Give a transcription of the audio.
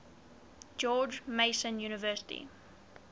george mason university